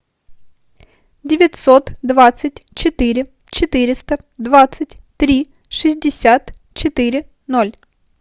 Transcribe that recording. девятьсот двадцать четыре четыреста двадцать три шестьдесят четыре ноль